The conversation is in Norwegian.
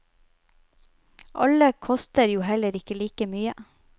Alle koster jo heller ikke like mye.